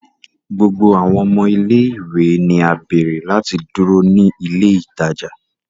Gbogbo awọn ọmọ ile-iwe ni a beere lati duro ni ile itaja